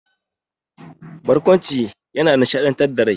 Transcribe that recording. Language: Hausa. Barƙwanci yana nishaɗantar da rai.